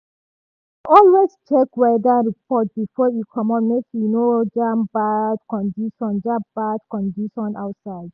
e dey always check weather report before e comot make e no jam bad condition jam bad condition outside.